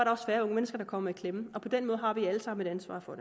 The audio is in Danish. også færre unge mennesker der kom i klemme og på den måde har vi alle sammen et ansvar for